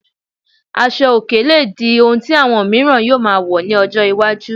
Asọ òkè lè di ohun tí àwọn miiran yóò máa wọ̀ ní ọjọ́ iwájú